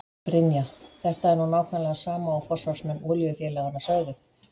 Brynja: En þetta er nú nákvæmlega sama og forsvarsmenn olíufélaganna sögðu?